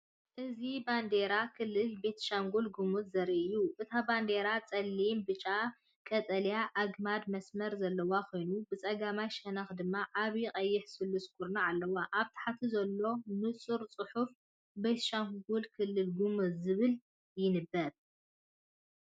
እዚ ባንዴራ ክልል ቤኒሻንጉል-ጉሙዝ ዘርኢ እዩ። እታ ባንዴራ ጸሊምን ብጫን ቀጠልያን ኣግማድ መስመር ዘለዋ ኮይና ብጸጋማይ ሸነኽ ድማ ዓቢ ቀይሕ ስሉስ ኩርናዕ ኣለዋ። ኣብ ታሕቲ ዘሎ ንጹር ጽሑፍ፡ “ቤኒሻንጉል - ክልል ጉሙዝ” ዝብል ይንበብ።